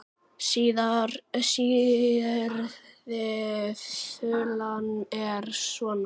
Síðari þulan er svona